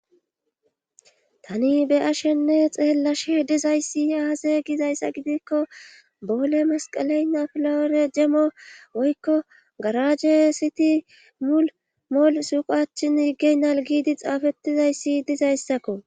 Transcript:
Tani be'ashenne xeelashe dizayssi aazay gizayssa gidikko boole masqalay napilawore jemmo woykko garaje siti mulmol suuqachin yiggey nalgiidi xaafettizayssi dizayssakko.